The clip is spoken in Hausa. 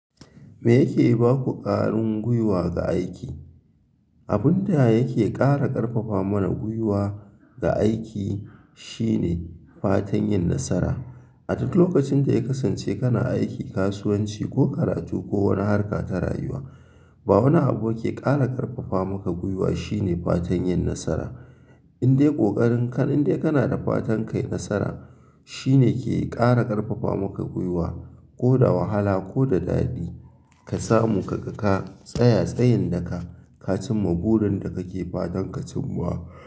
Me yake baku ƙarin gwiwa ga aiki? Abun da yake ƙara ƙarfafa mana gwiwa ga aiki shine fatan yin nasara. A duk lokacin da ya kasance kana aiki, kasuwanci ko karatu ko wani harka ta rayuwa, ba wani abu ke ƙara ƙarfafa maka gwiwa shine fatan yin nasara. Indai ƙoƙarin ka, indai kana da fatan kai nasara shine ke ƙara ƙarfafa maka gwiwa ko da wahala ko da daɗi ka samu ka ga ka tsaya tsayin daka ka cimma burin da kake fatan ka cimma.